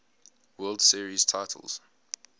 world series titles